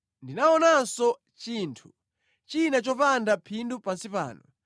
Ndinaonanso chinthu china chopanda phindu pansi pano: